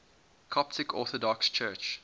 coptic orthodox church